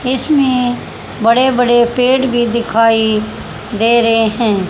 इसमें बड़े बड़े पेड़ भी दिखाई दे रहे हैं।